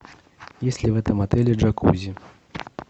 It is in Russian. есть ли в этом отеле джакузи